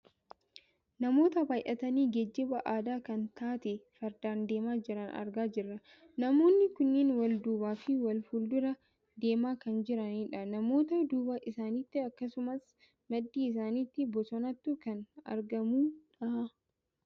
Namoota baayyatanii geejjiba aadaa kan taate fardaan deemaa jiran argaa jirra. Namoonni kunneen wal duubaafi wal fuuldura deemaa kan jiranidha. Namoota duuba isaaniitti akkasumas maddii isaaniitti bosonatu kan argamu dha.